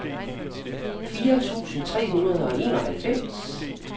fire tusind tre hundrede og enoghalvfems